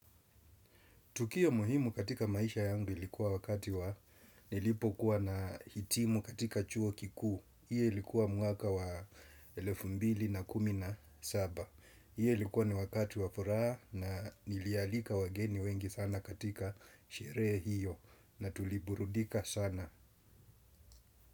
Tukio muhimu katika maisha yangu ilikuwa wakati wa nilipo kuwa nahitimu katika chuo kikuu. Iyo ilikuwa mwaka wa elefu mbili na kumin a saba. Iyo ilikuwa ni wakati wa furaha na nilialika wageni wengi sana katika sherehe hiyo na tuliburudika sana.